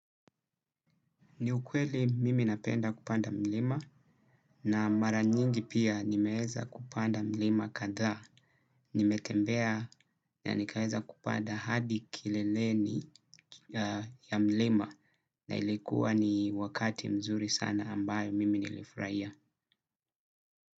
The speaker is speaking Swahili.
Ni ukweli mimi napenda kupanda mlima na mara nyingi pia nimeeza kupanda mlima kadhaa. Nimetembea na nikaeza kupanda hadi kileleni ya mlima na ilikuwa ni wakati mzuri sana ambayo mimi nilifraia.